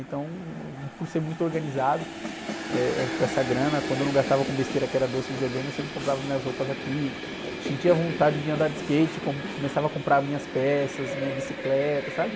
Então, hum, por ser muito organizado, eh, eh, com essa grana, quando eu não gastava com besteira, que era doce e videogame, eu sempre comprava minhas roupas aqui, sentia vontade de andar de skate, com, começava a comprar minhas peças, minha bicicleta, sabe?